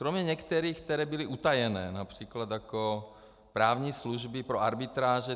Kromě některých, které byly utajené, například jako právní služby pro arbitráže.